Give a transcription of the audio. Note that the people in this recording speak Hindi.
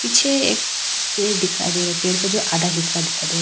पीछे एक पेड़ दिखाई दे रहा है पेड़ का जो आधा हिस्सा दिखाई दे रहा है।